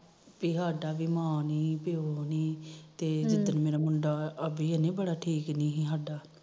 ਪੀ ਸਾਡਾ ਮਾਂ ਨੀ ਪਿਓ ਨੀ ਤੇ ਮੇਰਾ ਮੁੰਡਾ ਅਭੀ ਠੀਕ ਨੀ ਸਾਡਾ